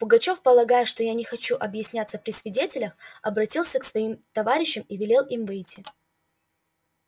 пугачёв полагая что я не хочу объясняться при свидетелях обратился к своим товарищам и велел им выйти